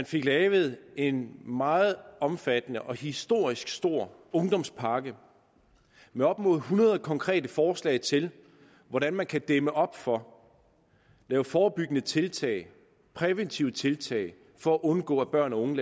fik lavet en meget omfattende og historisk stor ungdomspakke med op mod hundrede konkrete forslag til hvordan man kan dæmme op for lave forebyggende tiltag og præventive tiltag for at undgå at børn og unge